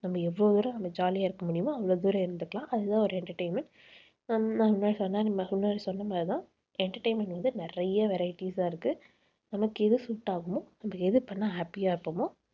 நம்ம எவ்வளவு தூரம் நம்ம jolly ஆ இருக்க முடியுமோ அவ்வளவு தூரம் இருந்துக்கலாம். அதுதான் ஒரு entertainment நான் முன்னாடி சொன்ன மாதிரிதான் entertainment வந்து நிறைய varieties ஆ இருக்கு. நமக்கு எது suit ஆகுமோ நம்ம எது பண்ணா happy யா இருப்போமோ